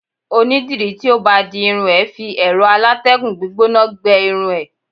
oni diri ti o ba di irun e fi ero alategun gbígbóná gbe irun e